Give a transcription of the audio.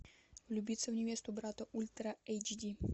влюбиться в невесту брата ультра эйч ди